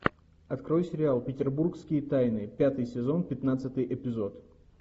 открой сериал петербургские тайны пятый сезон пятнадцатый эпизод